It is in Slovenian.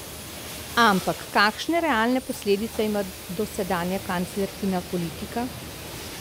Ampak kakšne realne posledice ima dosedanja kanclerkina politika?